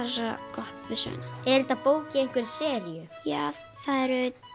gott við söguna er þetta bók í einhverri seríu já það eru